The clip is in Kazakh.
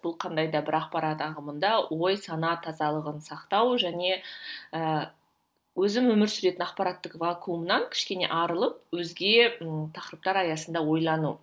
бұл қандай да бір ақпарат ағымында ой сана тазалығын сақтау және ііі өзім өмір сүретін ақпараттық вакумнан кішкене арылып өзге і тақырыптар аясында ойлану